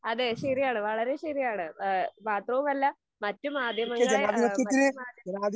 അതെ ശെരിയാണ് വളരെ ശെരിയാണ്. എഹ് മാത്രവുമല്ല മറ്റു മാധ്യമങ്ങളെ എഹ് മറ്റു മാധ്യ